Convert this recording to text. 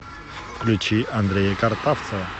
включи андрея картавцева